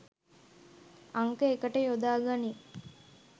අංක එකට යොදා ගනී